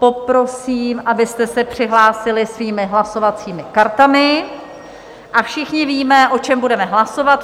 Poprosím, abyste se přihlásili svými hlasovacími kartami, a všichni víme, o čem budeme hlasovat.